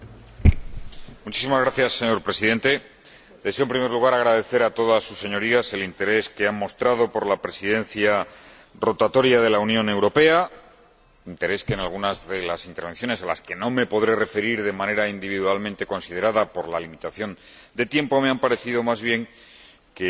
Señor Presidente, deseo en primer lugar agradecer a todas sus Señorías el interés que han mostrado por la Presidencia rotatoria de la Unión Europea. Interés que, en alguna de las intervenciones —a las que no me podré referir de manera individualmente considerada por la limitación de tiempo— me ha parecido más bien que era propio quizá del